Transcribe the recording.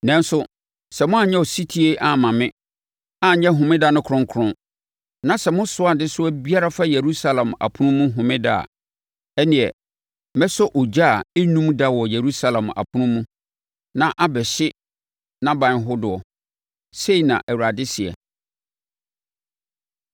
Nanso, sɛ moanyɛ ɔsetie amma me, anyɛ Homeda no kronkron, na sɛ mosoa adesoa biara fa Yerusalem apono mu Homeda a, ɛnneɛ mɛsɔ ogya a ɛrennum da wɔ Yerusalem apono mu na abɛhye nʼaban hodoɔ’, sei na Awurade seɛ.”